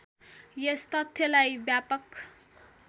यस तथ्यलाई व्यापक